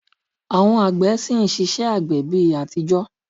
Àwọn àgbẹ̀ ṣì ń ṣiṣẹ́ àgbẹ̀ bi atijọ